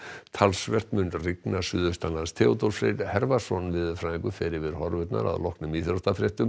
talsvert mun rigna suðaustanlands Theodór Freyr veðurfræðingur fer yfir horfurnar að loknum íþróttafréttum